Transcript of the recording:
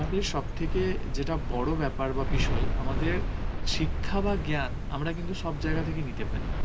আমাদের সব থেকে যেটা বড় ব্যাপার বা বিষয়, আমাদের শিক্ষা বা জ্ঞান সেটা আমরা সব জায়গা থেকে নিতে পারি